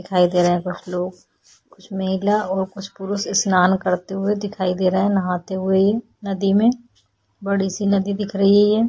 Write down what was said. दिखाई दे रहे हैं कुछ लोग कुछ महिला और कुछ पुरुष स्नान करते हुए दिखाई दे रहे हैं नहाते हुए नदी में बड़ी सी नदी दिख रही है।